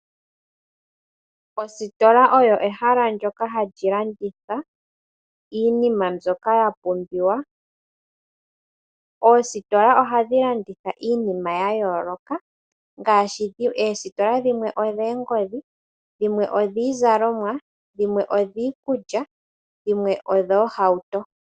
Ositola oyo ehala ndoka hali landitha iinima mbyoka ya pumbiwa. Oositola ohadhi landitha iinima ya yooloka ngaashi oositola dhimwe odhoongodhi, dhimwe odhiizalomwa, dhimwe oshiikuly, dhimwe odhoohauto.